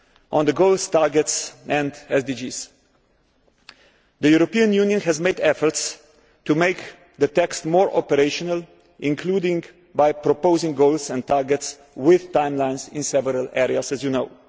On the goals, targets and SDGs, t he European Union has made efforts to make the text more operational, including by proposing goals and targets with timelines in several areas, as you know.